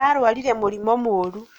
ararwarire mũrimũ mũru